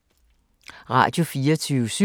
Radio24syv